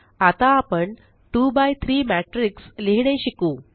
आता आपण 2 by 3 matrix लिहीणे शिकू